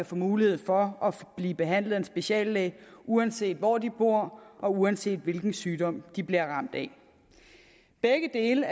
få mulighed for at blive behandlet af en speciallæge uanset hvor de boede og uanset hvilken sygdom de blev ramt af begge dele